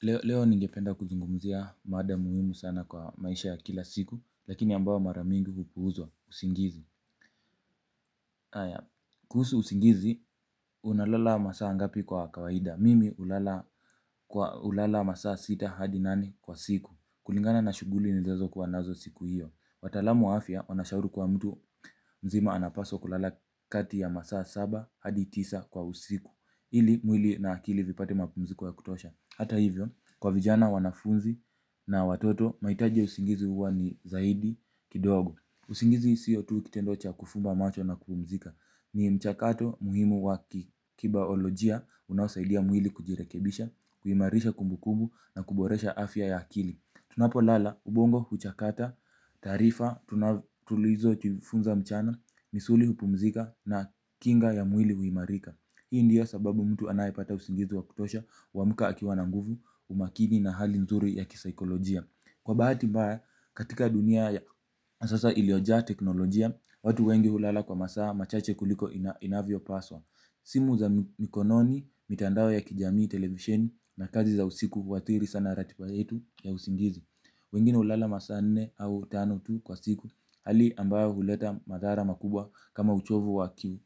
Leo ningependa kuzungumzia mada muhimu sana kwa maisha ya kila siku, lakini ambayo mara mingi hupuuzwa usingizi. Haya, kuhusu usingizi, unalala masaa ngapi kwa kawaida. Mimi hulala kwa hulala masaa sita hadi nane kila siku. Kulingana na shughuli nizazo kuwa nazo siku hiyo. Wataalamu wa afya, wanashauri kwa mtu mzima anapaswa kulala kati ya masaa saba hadi tisa kwa usiku. Ili mwili na akili vipate mapumziko ya kutosha hata hivyo, kwa vijana wanafunzi na watoto, mahitaji ya usingizi huwa ni zaidi kidogo, usingizi siyo tu kitendo cha kufumba macho na kupumzika. Ni mchakato muhimu wa kibaolojia unaosaidia mwili kujirekebisha, huimarisha kumbukumba na kuboresha afya ya akili, tunapolala ubongo huchakata taarifa tuna tulizojifunza mchana, misuli hupumzika na kinga ya mwili huimarika hii ndio sababu mtu anayepata usingizi wa kutosha huamka akiwa na nguvu umakini na hali nzuri ya kisaikolojia. Kwa bahati mbaya, katika dunia ya sasa ilioja teknolojia, watu wengi hulala kwa masaa machache kuliko inavyo paswa. Simu za mikononi, mitandao ya kijamii televisheni na kazi za usiku kuathiri sana ratiba yetu ya usingizi. Wengine hulala masaa nne au tano tu kwa siku hali ambayo huleta madhara makubwa kama uchovu wa kiu.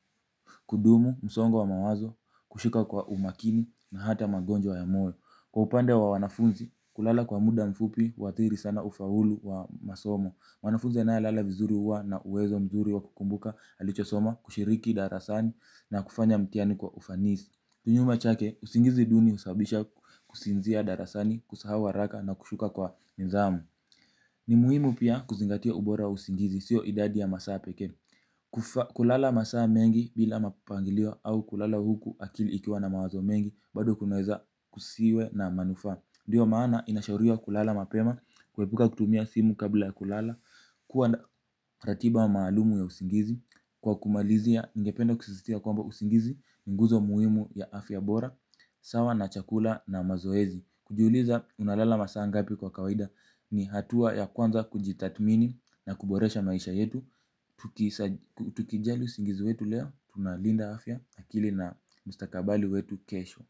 Kudumu, msongo wa mawazo, kushika kwa umakini na hata magonjwa ya moyo. Kwa upande wa wanafunzi, kulala kwa muda mfupi, huathiri sana ufaulu wa masomo mwanafunzi anayelala vizuri huwa na uwezo mzuri wa kukumbuka, alichosoma, kushiriki darasani na kufanya mtihani kwa ufanisi. Kinyume chake, usingizi duni husababisha kusinzia darasani, kusahau haraka na kushuka kwa nidhamu ni muhimu pia kuzingatia ubora wa usingizi sio idadi ya masaa pekee. Kulala masaa mengi bila mapangilio au kulala huku akili ikiwa na mawazo mengi bado kunaweza kusiwe na manufaa, ndio maana inashauriwa kulala mapema kuepuka kutumia simu kabla ya kulala kuwa na ratiba maalumu ya usingizi, kwa kumalizia ningependa kushiriki kuwa usingizi ni nguzo muhimu ya afya bora. Sawa na chakula na mazoezi kujiuliza unalala masaa ngapi kwa kawaida. Ni hatua ya kwanza kujitathmini na kuboresha maisha yetu. Tukijali usingizi wetu leo tunalinda afya, akili na mustakabali wetu kesho.